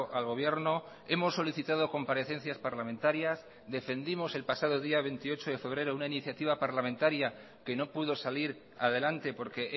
al gobierno hemos solicitado comparecencias parlamentarias defendimos el pasado día veintiocho de febrero una iniciativa parlamentaria que no pudo salir adelante porque